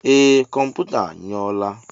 Ee, kọmputa a nyou la.